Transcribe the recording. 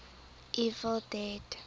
evil dead